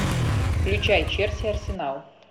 включай челси арсенал